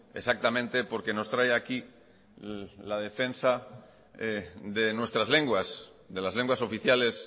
exactamente porque nos trae aquí la defensa de nuestras lenguas de las lenguas oficiales